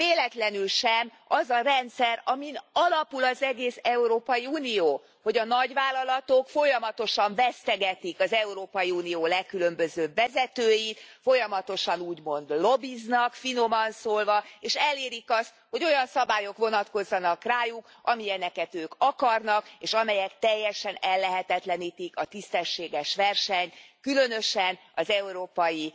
Véletlenül sem az a rendszer, amin alapul az egész Európai Unió, hogy a nagyvállalatok folyamatosan vesztegetik az Európai Unió legkülönbözőbb vezetőit, folyamatosan úgymond lobbiznak, finoman szólva és elérik azt, hogy olyan szabályok vonatkozzanak rájuk, amilyeneket ők akarnak, és amelyek teljesen ellehetetlenítik a tisztességes versenyt, különösen az európai